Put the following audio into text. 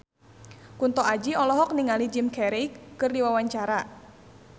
Kunto Aji olohok ningali Jim Carey keur diwawancara